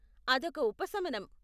అదొక ఉపశమనం.